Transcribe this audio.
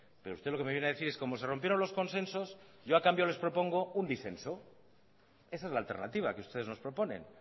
pero usted lo que me viene a decir es como se rompieron los consensos yo a cambio les propongo un disenso esa es la alternativa que ustedes nos proponen